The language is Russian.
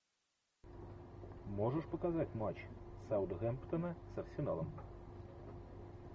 можешь показать матч саутгемптона с арсеналом